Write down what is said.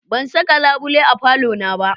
Ban saka labule a falona ba.